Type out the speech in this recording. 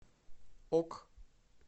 ок